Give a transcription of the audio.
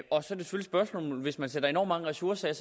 hvis man sætter enormt mange ressourcer af